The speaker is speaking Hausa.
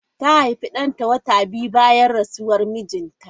Ta haifi danta wata biyu bayan rasuwar mijinta.